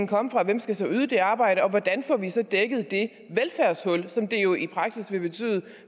komme fra hvem skal så yde det arbejde og hvordan får vi så dækket det velfærdshul som det jo i praksis vil betyde